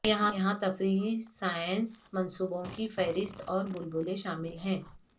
یہاں تفریحی سائنس منصوبوں کی فہرست اور بلبلے شامل ہیں